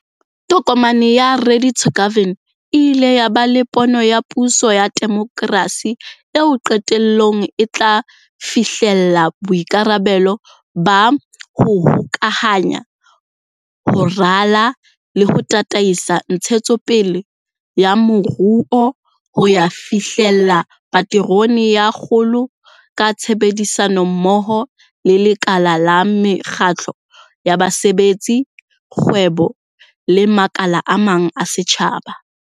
Tokomane ya Ready to Govern e ile ya ba le pono ya puso ya demokrasi eo qetellong e tla fihlella boikarabelo ba ho hokahanya, ho rala le ho tataisa ntshetsopele ya moruo ho ya fihlella paterone ya kgolo ka tshebedisano mmoho le lekala la mekgatlo ya basebetsi, kgwebo le makala a mang a setjhaba.